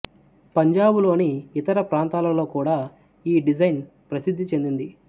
పంజాబులోని ఇతర ప్రాంతాలలో కూడా ఈ డిజైన్ ప్రసిద్ధి చెందింది